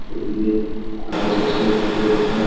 এদিকে কাঁচ আছে এদিকেও একটা--